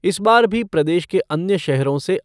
इस बार भी प्रदेश के अन्य शहरों से